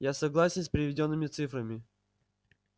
я согласен с приведёнными цифрами